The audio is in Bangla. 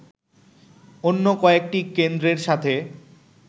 অন্য কয়েকটি কেন্দ্রের সাথে